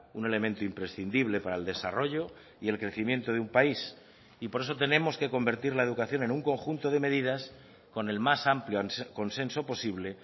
un elemento imprescindible para el desarrollo y el crecimiento de un país y por eso tenemos que convertir la educación en un conjunto de medidas con el más amplio consenso posible